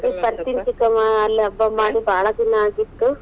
ಚಿಕ್ಕಮ್ಮ ಅಲ್ಲಿ ಹಬ್ಬ ಮಾಡಿ ಭಾಳ ದಿನಾ ಆಗಿತ್ತು.